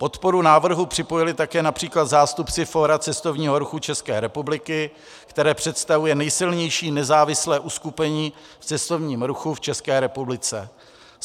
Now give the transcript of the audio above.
Podporu návrhu připojili také například zástupci Fóra cestovního ruchu České republiky, které představuje nejsilnější nezávislé uskupení v cestovním ruchu v České republice.